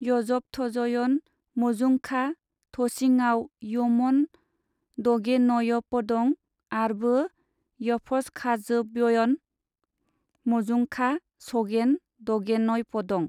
यबथजयन मजुङखा थझिआव यमन दगेनयपदं आरबो यफसखाजबोयन मजुंखा सगेन दगेनयपदं।